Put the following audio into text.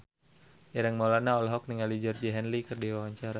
Ireng Maulana olohok ningali Georgie Henley keur diwawancara